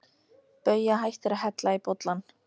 Bauja hættir að hella í bollann.